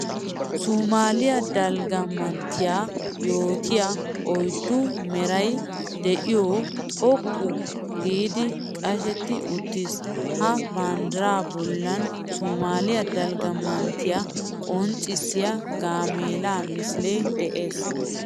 Sumaaliya dalgga manttiya yootiya oyddu meray de'iyo xoqqu giiddi qashetti uttiis. Ha banddira bollan sumaaliya dalgga manttiya qonccissiya gaamella misile de'ees.